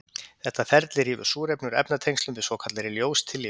Þetta ferli rýfur súrefni úr efnatengslum með svokallaðri ljóstillífun.